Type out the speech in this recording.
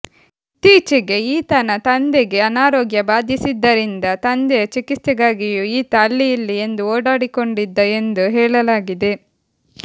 ಇತ್ತೀಚೆಗೆ ಈತನ ತಂದೆಗೆ ಅನಾರೋಗ್ಯ ಬಾಧಿಸಿದ್ದರಿಂದ ತಂದೆಯ ಚಿಕಿತ್ಸೆಗಾಗಿಯೂ ಈತ ಅಲ್ಲಿ ಇಲ್ಲಿ ಎಂದು ಓಡಾಡಿಕೊಂಡಿದ್ದ ಎಂದು ಹೇಳಲಾಗಿದೆ